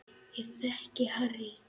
Ég þekki Harry